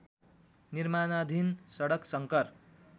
निर्माणाधीन सडक शङ्कर